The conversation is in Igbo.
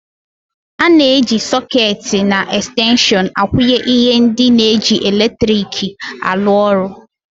Ana eji sôôketi na extenshon akwunye ihe ndị na -eji latriki arụ ọrụ.